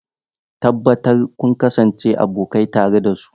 Tabbatar kun kasance abokai tare da su.